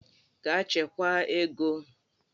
Gaa chekwaa ego!